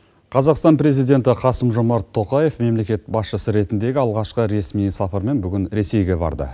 қазақстан президенті қасым жомарт тоқаев мемлекет басшысы ретіндегі алғашқы ресми сапармен бүгін ресейге барды